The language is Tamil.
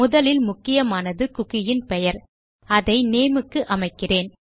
முதலில் முக்கியமானது குக்கி இன் பெயர் அதை நேம் க்கு அமைக்கிறேன்